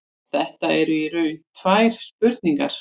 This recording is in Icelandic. Þetta eru í raun tvær spurningar.